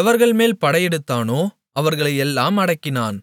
எவர்கள்மேல் படையெடுத்தானோ அவர்களையெல்லாம் அடக்கினான்